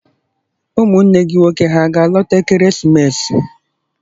Ụmụnne gị nwoke hà ga-alọta ekeresimesi?